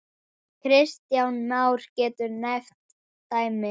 Kristján Már: Geturðu nefnt dæmi?